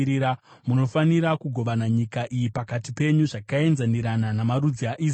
“Munofanira kugovana nyika iyi pakati penyu zvakaenzanirana namarudzi aIsraeri.